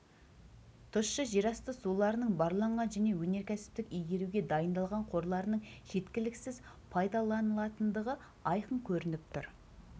тұщы жерасты суларының барланған және өнеркәсіптік игеруге дайындалған қорларының жеткіліксіз пайдаланылатындығы айқын көрініп тұр